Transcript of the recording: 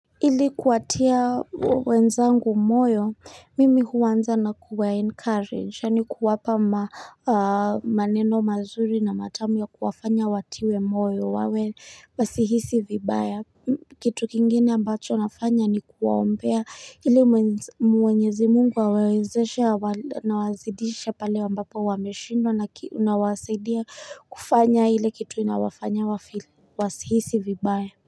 Ili kuwatia wenzangu moyo, mimi huanza na kuwa encourage, yaani ku wapa maneno mazuri na matamu ya kuwafanya watiwe moyo wawe wasihisi vibaya. Kitu kingine ambacho nafanya ni kuwaombea ili mwenyezi mungu awawezeshe na wazidishe pale ambapo wameshindwa na nawasaidia kufanya ile kitu inawafanya wa feel wasihisi vibaya.